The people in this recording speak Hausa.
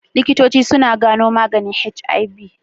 Likitoci suna gano maganin HIV.